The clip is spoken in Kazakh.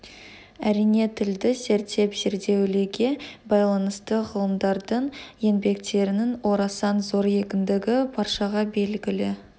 әрине тілді зерттеп зерделеуге байланысты ғалымдардың еңбектерінің орасан зор екендігі баршаға белгілі